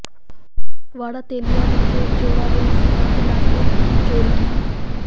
ਵਾੜਾ ਤੇਲੀਆਂ ਵਿਖੇ ਚੋਰਾਂ ਨੇ ਸੰਨ੍ਹ ਲਾ ਕੇ ਚੋਰੀ ਕੀਤੀ